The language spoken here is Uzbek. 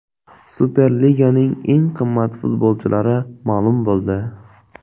Superliganing eng qimmat futbolchilari ma’lum bo‘ldi.